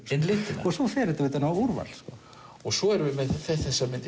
inn litina svo fer þetta utan á úrval svo erum við með þessar myndir